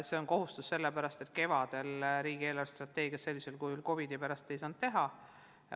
See on kohustus, sellepärast et kevadel ei saanud riigi eelarvestrateegiat sellisel kujul COVID-i tõttu teha.